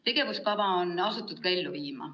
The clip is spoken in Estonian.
Tegevuskava on asutud ka ellu viima.